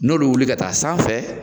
N'olu bɛ wuli ka taa san fɛ.